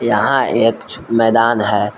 यहां एक मैदान है।